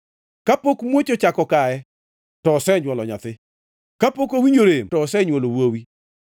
“Kapok muoch ochako kaye, to osenywolo nyathi; kapok owinjo rem to osenywolo wuowi.